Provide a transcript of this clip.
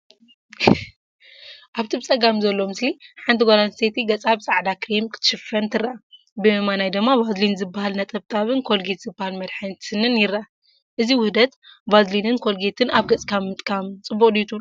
ኣብቲ ብጸጋም ዘሎ ምስሊ፡ ሓንቲ ጓል ኣንስተይቲ ገጻ ብጻዕዳ ክሬም ክትሽፍን ትርአ። ብየማን ድማ ቫዝሊን ዝበሃል ነጠብጣብን ኮልጌት ዝበሃል መድሃኒት ስኒን ይርአ። እዚ ውህደት "ቫዝሊን"ን "ኮልጌት"ን ኣብ ገጽካ ምጥቃም ፅቡቅ ድዩ ትብሉ?